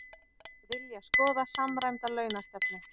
Vilja skoða samræmda launastefnu